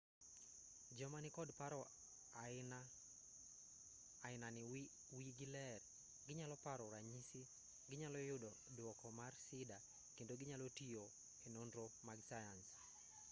joma nikod paro ainani wigi ler ginyalo paro ranyisi ginyalo yudo dwoko mar sida kendo ginyalo tiyo e nonro mag sayans